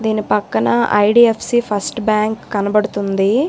ని పక్కన IDFC first bank కనపడుతుంది.